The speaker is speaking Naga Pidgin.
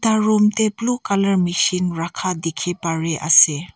room te blue colour machine rakha dekhi Pari ase.